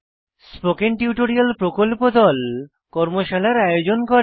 spoken tutorial প্রকল্প দল কর্মশালার আয়োজন করে